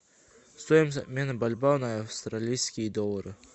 стоимость обмена бальбоа на австралийские доллары